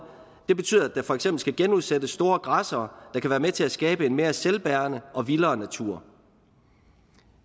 det betyder at der for eksempel skal genudsættes store græssere der kan være med til at skabe en mere selvbærende og vildere natur